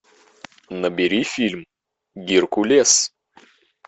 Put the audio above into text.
набери фильм геркулес